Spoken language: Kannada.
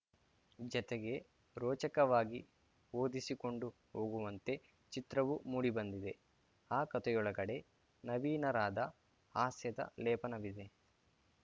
ಜತೆಗೆ ರೋಚಕವಾಗಿ ಓದಿಸಿಕೊಂಡು ಹೋಗುವಂತೆ ಚಿತ್ರವೂ ಮೂಡಿಬಂದಿದೆ ಆ ಕತೆಯೊಳಗಡೆ ನವೀರಾದ ಹಾಸ್ಯದ ಲೇಪನವಿದೆ